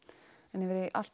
en yfir í allt